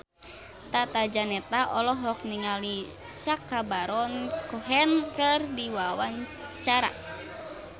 Tata Janeta olohok ningali Sacha Baron Cohen keur diwawancara